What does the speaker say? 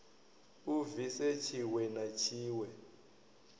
a bvise tshiwe na tshiwe